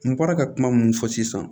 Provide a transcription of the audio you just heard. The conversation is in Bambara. N bɔra ka kuma mun fɔ sisan